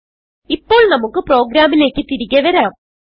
ഇപ്പോൾ നമുക്ക് പ്രോഗ്രാമിലേക്ക് തിരികെ വരാം